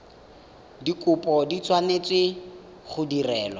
dikopo di tshwanetse go direlwa